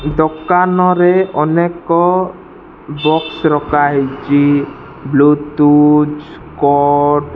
ଦୋକାନରେ ଅନେକ ବକ୍ସ ରକାହେଇଛି ବ୍ଲୁଟୁଥ କୋଡ --